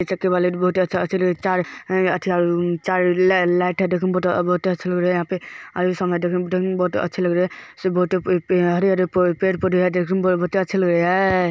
पेड़ हरे-हरे पेड़-पौधे देखने में बहुत अच्छे लग रहे हेय ए---